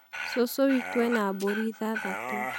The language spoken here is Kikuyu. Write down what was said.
Cũcũ witũ ena mbũri ithathatũ.